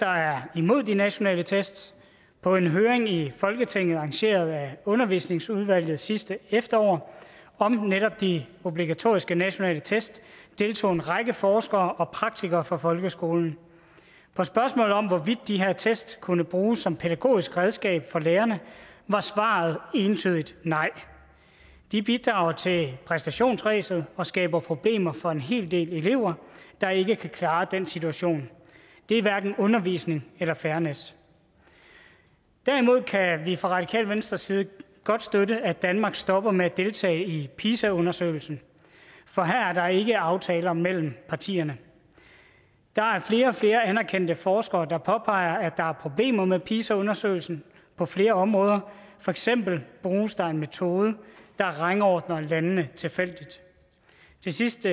er imod de nationale test på en høring i folketinget arrangeret af undervisningsudvalget sidste efterår om netop de obligatoriske nationale test deltog en række forskere og praktikere fra folkeskolen på spørgsmålet om hvorvidt de her test kunne bruges som pædagogisk redskab for lærerne var svaret entydigt nej de bidrager til præstationsræset og skaber problemer for en hel del elever der ikke kan klare den situation det er hverken undervisning eller fairness derimod kan vi fra radikale venstres side godt støtte at danmark stopper med at deltage i pisa undersøgelsen for her er der ikke aftaler mellem partierne der er flere og flere anerkendte forskere der påpeger at der er problemer med pisa undersøgelsen på flere områder for eksempel bruges der en metode der rangordner landene tilfældigt til sidst